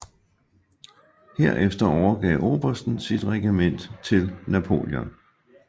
Herefter overgav obersten sit regiment til Napoleon